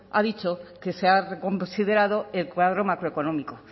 ha dicho que se ha reconsiderado el cuadro macroeconómico